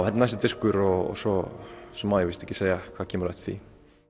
er næsti diskur og svo svo má ég víst ekki segja hvað kemur á eftir því